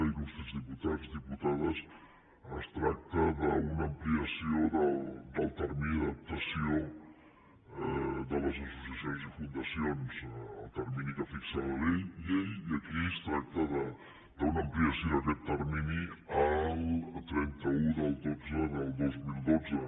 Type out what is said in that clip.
il·lustres diputats i diputades es tracta d’una ampliació del termini d’adaptació de les associacions i fundacions del termini que fixa la llei i aquí es tracta d’una ampliació d’aquest termini al trenta un del xii del dos mil dotze